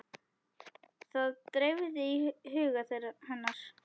Það dreifði huga hennar.